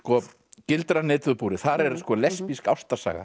gildran netið og búrið þar er lesbísk ástarsaga